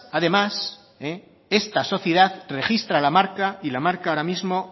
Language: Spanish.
además esta sociedad registra la marca y la marca ahora mismo